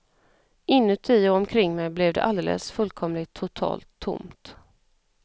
Inuti och omkring mig blev det alldeles fullkomligt totalt tomt.